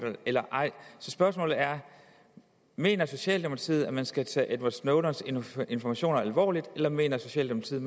eller ej så spørgsmålet er mener socialdemokratiet at man skal tage edward snowdens informationer alvorligt eller mener socialdemokratiet